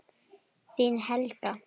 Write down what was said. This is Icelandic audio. Þín, Helga.